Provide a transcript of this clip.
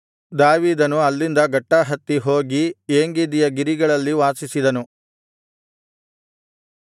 ದಾವೀದನು ಅಲ್ಲಿಂದ ಗಟ್ಟಾಹತ್ತಿ ಹೋಗಿ ಏಂಗೆದಿಯ ಗಿರಿಗಳಲ್ಲಿ ವಾಸಿಸಿದನು